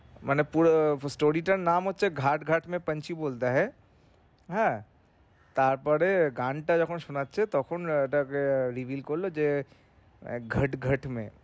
মানে পুরো story টার নাম হচ্ছে ঘাট ঘাট মে পাঞ্ছি বোলতা হেন তারপরে গানটা যখন শোনাচ্ছে তখন এটাকে reveal করলো যে ঘট ঘট মে